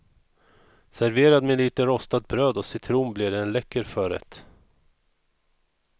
Serverad med lite rostat bröd och citron blir det en läcker förrätt.